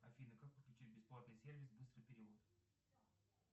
афина как подключить бесплатный сервис быстрый перевод